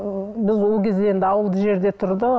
біз ол кезде енді ауылды жерде тұрды